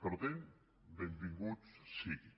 per tant benvingut sigui